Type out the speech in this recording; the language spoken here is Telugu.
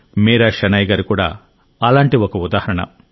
మీరా షెనాయ్ గారు కూడా అలాంటి ఒక ఉదాహరణ